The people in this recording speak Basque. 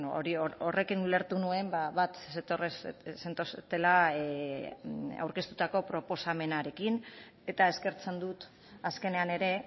hori horrekin ulertu nuen bat zentoztela aurkeztutako proposamenarekin eta eskertzen dut azkenean ere